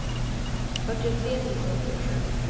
fyrtiotre tusen åttiosju